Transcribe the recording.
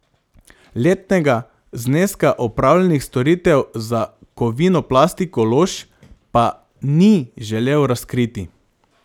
Letnega zneska opravljenih storitev za Kovinoplastiko Lož pa ni želel razkriti.